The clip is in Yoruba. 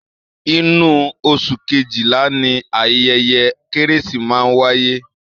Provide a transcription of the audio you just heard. Inú oṣù kejila ni ayẹyẹ kérésì máa ń wáyé